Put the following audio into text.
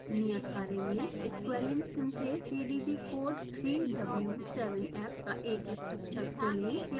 नियत कार्य में squalene synthasepdb code 3w7f का एक स्ट्रक्चर खोलें